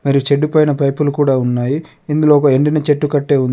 మరియు చెడ్డు పైన పైపులు కూడా ఉన్నాయి ఇందులో ఒక ఎండిన చెట్టు కట్టే ఉం--